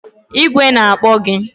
Igwe na-akpọ gị!